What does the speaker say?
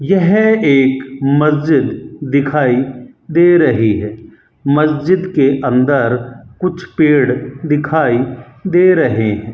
यह एक मस्जिद दिखाई दे रही है मस्जिद के अंदर कुछ पेड़ दिखाई दे रहे है।